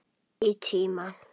Í tíma.